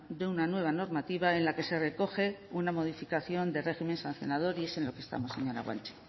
de una nueva normativa en la que se recoge una modificación del régimen sancionar y es en lo que estamos señora guanche